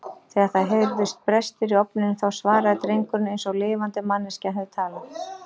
Þegar það heyrðust brestir í ofninum þá svaraði drengurinn eins og lifandi manneskja hefði talað.